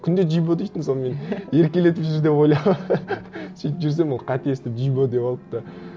күнде джибо дейтін соны мен еркелетіп жүр деп ойлап сөйтіп жүрсем ол қате естіп джибо деп алыпты